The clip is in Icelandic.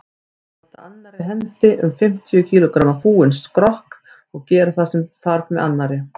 Halda annarri hendi um fimmtíu kílógramma fúinn skrokk og gera það sem þarf með annarri.